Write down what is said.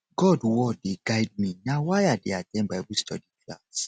god word dey guide me na why i dey at ten d bible study class